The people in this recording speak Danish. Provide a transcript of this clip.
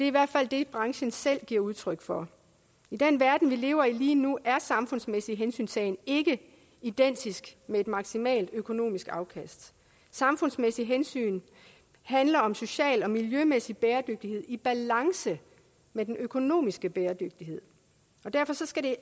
i hvert fald det branchen selv giver udtryk for i den verden vi lever i lige nu er samfundsmæssig hensyntagen ikke identisk med et maksimalt økonomisk afkast samfundsmæssige hensyn handler om social og miljømæssig bæredygtighed i balance med den økonomiske bæredygtighed og derfor skal det